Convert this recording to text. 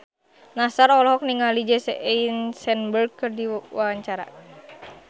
Nassar olohok ningali Jesse Eisenberg keur diwawancara